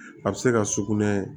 A bɛ se ka sugunɛ